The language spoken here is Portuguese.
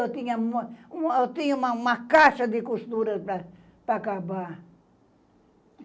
Eu tinha uma uma eu tinha uma uma caixa de costuras para para acabar.